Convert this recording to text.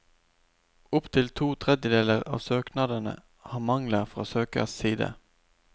Opp til to tredjedeler av søknadene har mangler fra søkers side.